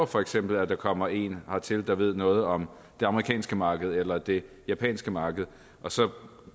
for eksempel kommer en hertil der ved noget om det amerikanske marked eller det japanske marked og så